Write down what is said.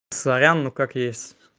сорян ну как есть